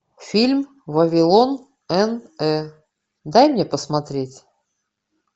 фильм вавилон н э дай мне посмотреть